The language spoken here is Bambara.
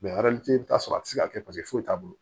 i bɛ t'a sɔrɔ a tɛ se ka kɛ paseke foyi t'a bolo